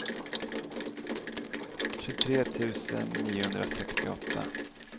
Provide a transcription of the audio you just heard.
tjugotre tusen niohundrasextioåtta